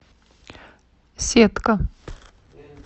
сетка